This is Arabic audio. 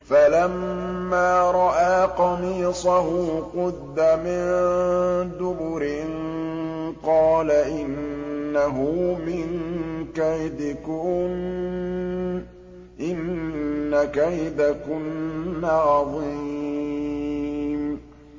فَلَمَّا رَأَىٰ قَمِيصَهُ قُدَّ مِن دُبُرٍ قَالَ إِنَّهُ مِن كَيْدِكُنَّ ۖ إِنَّ كَيْدَكُنَّ عَظِيمٌ